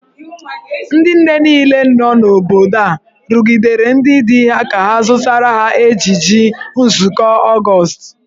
Ndị nne niile nọ n’obodo a rụgidere ndị di ha ka ha zụtara ha ejiji nzụkọ Ọgọọst.